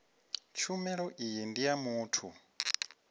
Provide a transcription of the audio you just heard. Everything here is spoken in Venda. tshumelo iyi ndi ya muthu